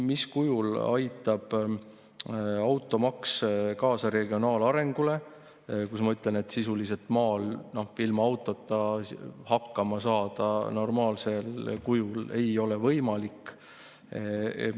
Mis kujul aitab automaks kaasa regionaalarengule, kui sisuliselt maal ilma autota hakkama saada normaalsel kujul ei ole võimalik?